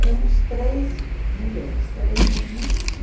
Éramos três mulheres, três meninas, né?